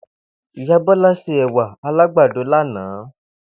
Ìyá Bó̩lá se è̩wà alágbàdo lánàá